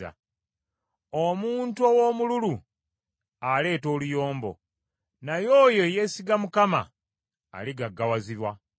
Omuntu ow’omululu aleeta oluyombo, naye oyo eyeesiga Mukama aligaggawazibwa.